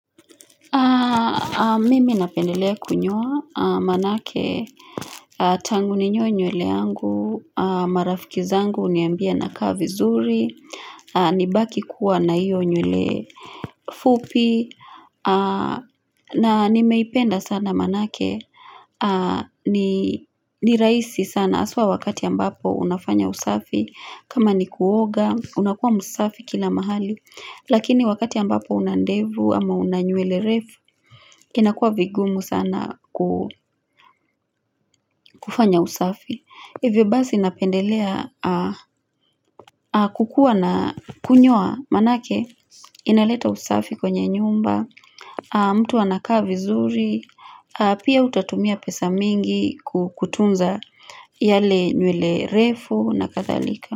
Mimi napendelea kunyoa manake tangu ninyoe nywele yangu marafiki zangu ghuniambia nakaa vizuri nibaki kuwa na hiyo nywele fupi na nimeipenda sana manake ni raisi sana aswa wakati ambapo unafanya usafi kama ni kuoga unakuwa msafi kila mahali Lakini wakati ambapo una ndevu ama una nywele refu inakuwa vigumu sana kufanya usafi Hivyo basi napendelea kukua na kunyoa manake inaleta usafi kwenye nyumba mtu anakaa vizuri, pia utatumia pesa mingi kutunza yale nywele refu na kadhalika.